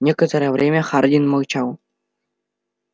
некоторое время хардин молчал